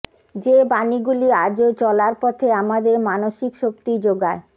যে বাণীগুলি আজও চলার পথে আমাদের মানসিক শক্তি জোগায়